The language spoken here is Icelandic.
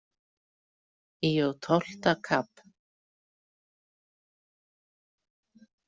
Í og tólfta kap.